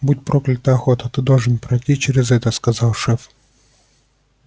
будь проклята охота ты должен пройти через это сказал шеф